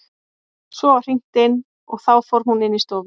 Svo var hringt inn og þá fór hún inn í stofu.